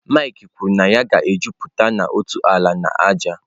Mike kwuru na ya ga-ejupụta na ntọala na ájá.